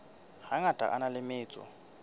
hangata a na le metso